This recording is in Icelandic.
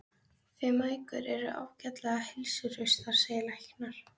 Þið mæðgur eruð ágætlega heilsuhraustar, segja læknar.